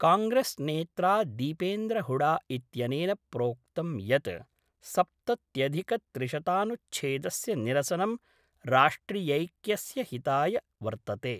कांग्रेस नेत्रा दीपेन्द्र हुडा इत्यनेन प्रोक्तं यत् सप्तत्यधिकत्रिशतानुच्छेदस्य निरसनं राष्ट्रियैक्यस्यहिताय वर्तते।